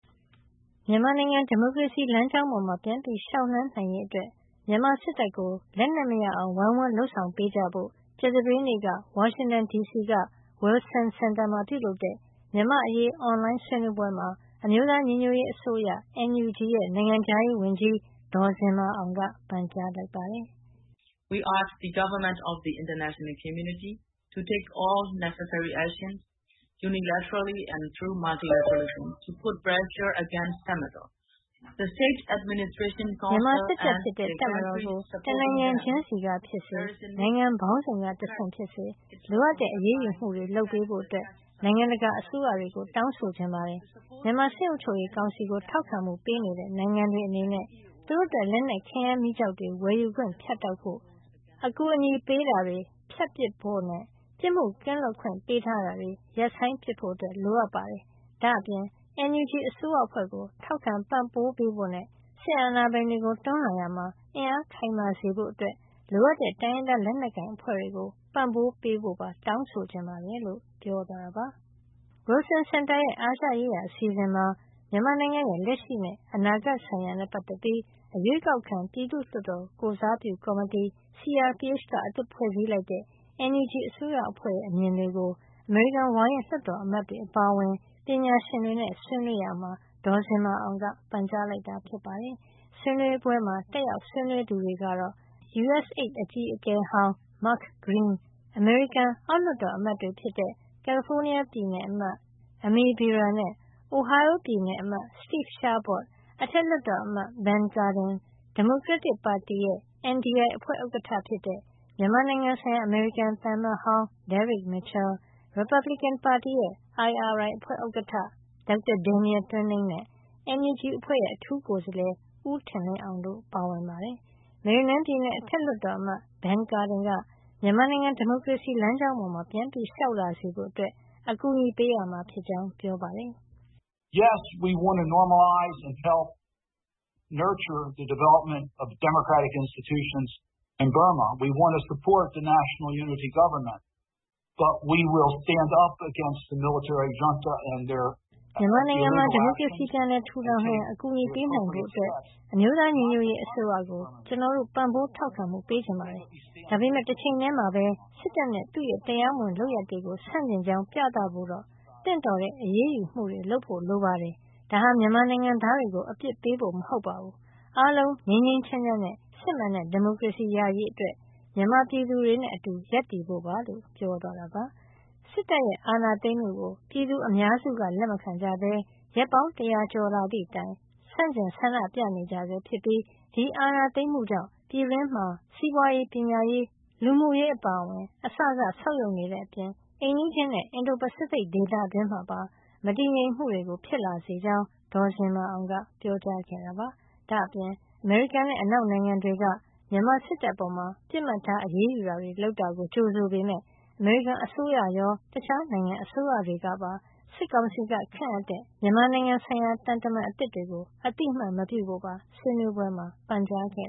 မြန်မာနိုင်ငံ ဒီမိုကရေစီလမ်းကြောင်းပေါ် ပြန်လျှောက်လှမ်းနိုင်ရေးအတွက် မြန်မာစစ်တပ်ကို လက်နက်မရအောင် ဝိုင်းဝန်းလုပ်ဆောင်ပေးကြဖို့ ကြာသပတေးနေ့က ဝါရှင်တန်ဒီစီက Wilson စင်တာမှာ ပြုလုပ်တဲ့ မြန်မာ့အရေး အွန်လိုင်းဆွေးနွေးပွဲမှာ အမျိုးသားညီညွတ်ရေးအစိုးရ NUG ရဲ့ နိုင်ငံခြားရေးဝန်ကြီး ဒေါ်ဇင်မာအောင်က ပန်ကြားလိုက်ပါတယ်။ “မြန်မာစစ်တပ်ဖြစ်တဲ့ တပ်မတော်ကို တနိုင်ငံချင်းစီကဖြစ်စေ နိုင်ငံ ပေါင်းစုံကတဆင့် ဖြစ်စေ လိုအပ်တဲ့ အရေးယူမှုတွေလုပ်ပေးဖို့ နိုင်ငံတကာ အစိုးရတွေကို တောင်းဆိုချင်ပါတယ်။ မြန်မာစစ်အုပ်ချုပ်ရေး ကောင်စီကို ထောက်ခံမှုပေးနေတဲ့ နိုင်ငံတွေ အနေနဲ့ သူတို့အတွက် လက်နက်ခဲယမ်းမီးကျောက်တွေ ဝယ်ယူခွင့် ဖြတ်တောက်ဖို့၊ အကူညီပေးတာ ဖြတ်ပစ်ဖို့နဲ့ ပြစ်မှုကင်းလွတ်ခွင့်ပေးတာကို ရပ်ပစ်ဖို့ လိုအပ်ပါတယ်။ ဒါ့အပြင် NUG အစိုးရအဖွဲ့ကို ထောက်ခံပံ့ပိုးပေးဖို့နဲ့ စစ်အာဏာပိုင်တွေကို တွန်းလှန်ရာမှာ အင်အားခိုင်မာစေဖို့ အတွက် လိုအပ်တဲ့ တိုင်းရင်းသားလက်နက်ကိုင် အဖွဲ့တွေကို ပံ့ပိုးပေးဖို့ပါ တောင်းဆိုချင်ပါတယ်။” Wilson စင်တာ ရဲ့ အာရှရေးရာ အစီအစဉ်မှာ မြန်မာနိုင်ငံရဲ့ လက်ရှိနဲ့ အနာဂတ် ဆိုင်ရာနဲ့ ပတ်သက်ပြီး အရွေးကောက်ခံ ပြည်သူ့လွှတ်တော်ကိုယ်စားပြုကော်မတီ CRPH က အသစ်ဖွဲ့စည်းလိုက်တဲ့ NUG အစိုးရအဖွဲ့ရဲ့ အမြင်တွေကို အမေရိကန် ဝါရင့် လွှတ်တော်အမတ်တွေ အပါအဝင် ပညာရှင်တွေနဲ့ ဆွေးနွေးရာမှာ ဒေါ်ဇင်မာအောင်က ပန်ကြားလိုက်တာ ဖြစ်ပါတယ်။ ဆွေးနွေးပွဲမှာ တက်ရောက်ဆွေးနွေးသူတွေကတော့ အရင် USAID အကြီးအကဲဟောင်း Mark Green ၊ အမေရိကန်အောက် လွှတ်တော်အမတ်တွေဖြစ်တဲ့ ကယ်လီဖိုးနီးယားပြည်နယ် အမတ် Ami Bera နဲ့ Ohio ပြည်နယ်အမတ် Steve Chabot အထက်လွှတ်တော်အမတ် Ben Cardin၊ ဒီမိုကရက်တစ်ပါတီ ရဲ့ NDI အဖွဲ့ဥက္ကဌ ဖြစ်တဲ့ မြန်မာနိုင်ငံဆိုင်ရာ အမေရိကန်သံအမတ်ဟောင်း Derek Mitchell၊ ရီပါတ်ဘလစ်ကင်ပါတီရဲ့ IRI အဖွ့ဲဥက္ကဌ Dr. Daniel Twining နဲ့ NUG အဖွဲ့ရဲ့ အထူးကိုယ်စားလှယ် ဦးထင်လင်းအောင် တို့ဖြစ်ပါတယ်။ မေရီလန်းပြည်နယ် အထက်လွှတ်တော်အမတ် Ben Cardin၊ က မြန်မာနိုင်ငံ ဒီမိုကရေစီလမ်းကြောင်း ပေါ်ပြန်လျှောက်လာစေဖို့ အကူညီပေးရမှာ ဖြစ်ကြောင်း ပြောပါတယ်။ “မြန်မာနိုင်ငံမှာ ဒီမိုကရေစီပြန်လည်ထူထောင်နိုင်အောင် အကူအညီပေးနိုင်ဖို့ အတွက် အမျိုးသားညီညွတ်ရေး အစိုးရကို ကျနော်တို့ ပံ့ပိုးထောက်ခံမှု ပေးချင်ပါတယ်။ ဒါပေမယ့် တချိန်ထည်းမှာပဲ စစ်တပ်နဲ့ သူ့ရဲ့ တရားမဝင် လုပ်ရပ်တွေကို ဆန့်ကျင်ကြောင်းး ပြသဖို့တော့ သင့်တော်တဲ့ အရေးယူမှုတွေ လုပ်ဖို့ လို ပါတယ်။ ဒါဟာ မြန်မာနိုင်ငံသားတွေကို အပြစ်ပေးဖို့ မဟုတ်ပါဘူး အားလုံး ငြိမ်းငြိမ်းချမ်းချမ်းနဲ့ စစ်မှန်တဲ့ဒီမိုကရေစီရရေးအတွက် မြန်မာပြည်သူတွေနဲ့ အတူရပ်တည်ဖို့ပါ။” စစ်တပ်အာဏာသိမ်းမှုကို ပြည်သူအများစုကလက်မခံကြပဲ ရက်ပေါင်း တရာကျော်လာသည့်တိုင် ဆန့်ကျင် ဆန္ဒပြနေဆဲ ဖြစ်ပြီး ဒီအာဏာသိမ်းမှုကြောင့် ပြည်တွင်းမှာ စီးပွါးရေး၊ ပညာရေး၊ လူမှုရေး အစစ ဆုတ်ယုတ်တဲ့ အပြင် အိမ်နီးချင်းနဲ့ အင်ဒိုပစိဖိတ်ဒေသတွင်းမှာပါ မတည်ငြိမ်မှုတွေ ဖြစ်လာစေကြောင်း ဒေါ်ဇင်မာအောင်က ပြောကြားခဲ့တာပါ။ ဒါ့အပြင် အမေရိကန်နဲ့ အနောက်နိုင်ငံတွေက မြန်မာစစ်တပ်အပေါ် ပစ်မှတ်ထား အရေးယူတာတွေ လုပ်တာကို ကြိုဆိုပေမယ့် အမေရိကန်စိုးရရော တခြားနိုင်ငံအစိုးရတွေကပါ စစ်ကောင်စီက ခန့်အပ်တဲ့ သံတမန်တွေကို အသိမှတ်မပြုဖို့ပါ ဆွေးနွေးပွဲမှာ ပန်ကြားခဲ့